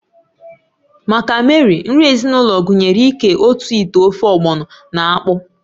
Maka Mary, nri ezinụlọ gụnyere ịké otu ite ofe ogbọno na akpụ